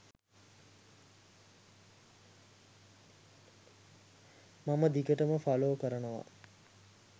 මම දිගටම ෆලෝ කරනවා.